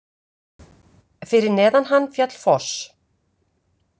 Fyrir neðan hann féll foss.